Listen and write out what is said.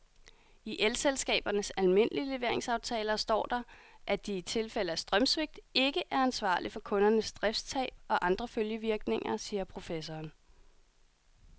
I elselskabernes almindelige leveringsaftaler står der, at de i tilfælde af strømsvigt ikke er ansvarlig for kundernes driftstab og andre følgevirkninger, siger professoren.